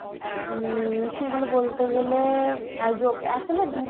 উম সেগুলো বলতে গেলে অ্যাজো~ আসলে দু